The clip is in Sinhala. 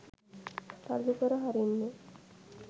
තල්ලු කර හරින්නේ?